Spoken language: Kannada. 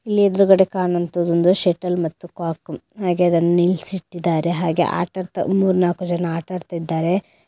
ಇಲ್ಲ್ ಎದುರ್ಗಡೆ ಕಾಣೋಂತದ್ದು ಒಂದು ಶಟಲ್ ಮತ್ತು ಕಾಕು ಹಾಗೆ ಅದನ್ ನಿಲ್ಸಿಟ್ಟಿದ್ದಾರೆ ಹಾಗೆ ಆಟಾಡ್ತಾ ಮೂರ್ ನಾಕು ಜನ ಆಟಡ್ತಾ ಇದ್ದಾರೆ.